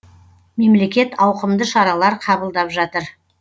мемлекет ауқымды шаралар қабылдап жатыр